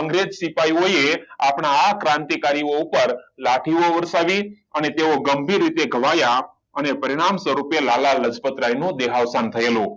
અંગ્રેજ સિપાહીઓએ આપણા ક્રાંતિકારીઓ ઉપર લાઠી ઓ વર્ષાવી અને ગંભીર રીતે ઘવાયા અને પરિણામ સ્વરૂપે લાલા લજપત રાય દેહાર્પણ થયું